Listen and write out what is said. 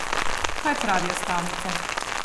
Kaj pravijo stavnice?